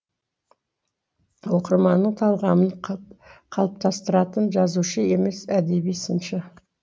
оқырманның талғамын қалыптастыратын жазушы емес әдеби сыншы